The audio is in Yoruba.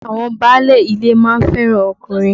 Àwọn báálé ilé ma ń fẹ́ràn ọkùnrin.